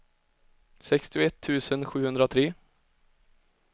sextioett tusen sjuhundratre